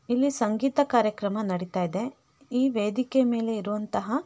ಇಲ್ಲಿ ಸಂಗೀತ ಕಾರ್ಯಕ್ರಮ ನಡೀತ ಇದೆ. ಈ ವೇದಿಕೆ ಮೇಲೆ ಇರುವಂಥ --